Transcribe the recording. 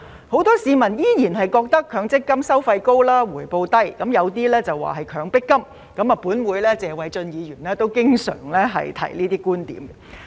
很多市民依然認為強積金"收費高、回報低"，有些更認為是"強迫金"，本會的謝偉俊議員也經常提出這些觀點。